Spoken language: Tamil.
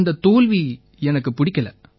அந்தத் தோல்வி எனக்குப் பிடிக்கலை